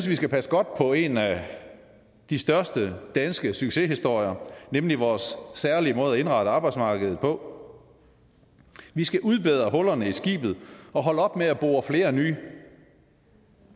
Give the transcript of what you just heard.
vi skal passe godt på en af de største danske succeshistorier nemlig vores særlige måde at indrette arbejdsmarkedet på vi skal udbedre hullerne i skibet og holde op med at bore flere nye